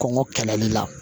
Kɔngɔ kɛlɛli la